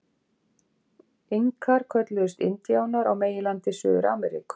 Inkar kölluðust indíánar á meginlandi Suður-Ameríku.